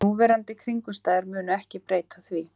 Núverandi kringumstæður munu ekki breyta því